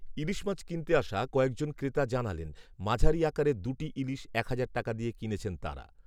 ইলিশ মাছ কিনতে আসা কয়েকজন ক্রেতা জানালেন, মাঝারি আকারের দু’টি ইলিশ, এক হাজার টাকা দিয়ে কিনেছেন তাঁরা।